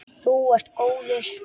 Þú ert góður.